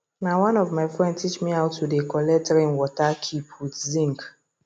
na one of my friend teach me how to they collect rain water keep with zinc